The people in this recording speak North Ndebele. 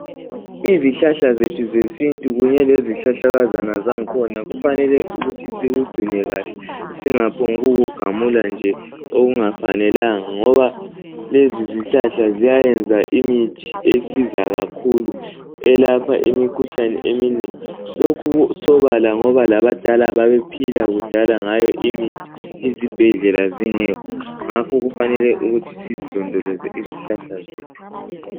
Izihlahla zethu zesintu kunye lezihlahlakazana zangona kufanele ukuthi sikugcine kahle, singaphongukugamula njee okungafanelanga ngoba lezizihlahla ziyayenza imithi esiza kakhulu elapha imikhuhlane eminengi. Lokhu kusobala ngoba labadala babephila kudala ngayo imithi izibhedlela zingekho, ngakho kufanele ukuthi sizilondolezee izihlahla zethu.